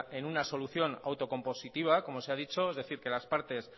en una solución auto compositiva como se ha dicho es decir que las partes